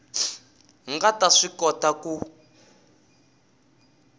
nga ta swi kota ku